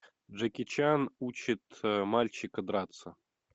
джеки чан учит мальчика драться